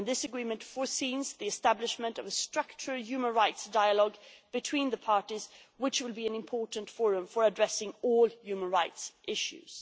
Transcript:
And this agreement foresees the establishment of a structured human rights dialogue between the parties, which will be an important forum for addressing all human rights issues.